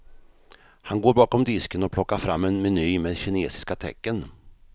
Han går bakom disken och plockar fram en meny med kinesiska tecken.